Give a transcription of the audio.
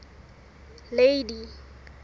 lady